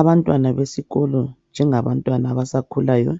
Abantwana besikolo njengabantwana abasakhulayo .